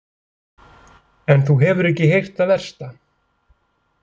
En þú hefur ekki heyrt það versta.